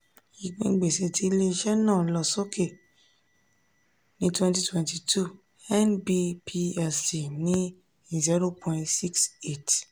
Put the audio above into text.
ìpín gbèsè ti ile-iṣẹ náà lọ sókè ní twenty twenty two nb plc ní zero point six eight